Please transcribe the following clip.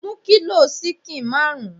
Mú kilo ṣíkìn marun!